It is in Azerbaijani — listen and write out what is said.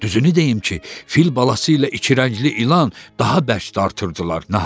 Düzünü deyim ki, fil balası ilə iki rəngli ilan daha bəş dartırdılar.